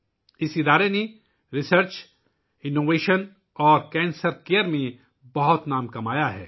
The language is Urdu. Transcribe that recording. اس ادارے نے ریسرچ، انوویشن اور کینسر کیئر میں بہت نام کمایا ہے